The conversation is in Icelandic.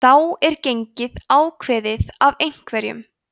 þá er gengið ákveðið af einhverjum